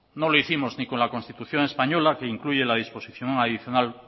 no lo hicimos ni con la constitución española que incluye la disposición adicional